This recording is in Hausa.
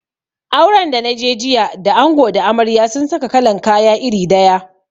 Auren da naje jiya da ango da amarya sun saka kalan kaya iri daya